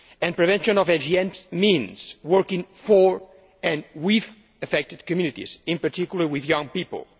Prevention of FGM means working for, and with, affected communities and in particular with young people.